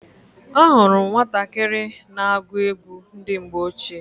Ahụrụ m nwatakịrị na-agụ egwu ndị mgbe ochie.